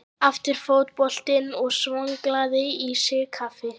Aftur fótbrotinn og svolgraði í sig kaffið.